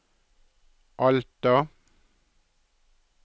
Alta